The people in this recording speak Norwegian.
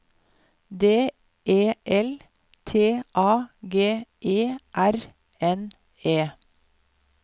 D E L T A G E R N E